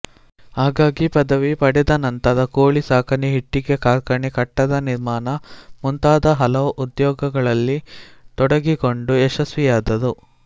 ಹಾಗಾಗಿ ಪದವಿ ಪಡೆದನಂತರ ಕೋಳಿ ಸಾಕಣೆ ಇಟ್ಟಿಗೆ ಕಾರ್ಖಾನೆ ಕಟ್ಟಡ ನಿರ್ಮಾಣ ಮುಂತಾದ ಹಲವು ಉದ್ಯೋಗಗಳಲ್ಲಿ ತೊಡಗಿಕೊಂಡು ಯಶಸ್ವಿಯಾದರು